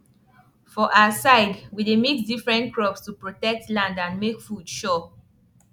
for our side we dey mix different crops to protect land and make food sure